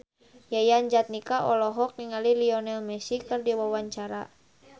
Yayan Jatnika olohok ningali Lionel Messi keur diwawancara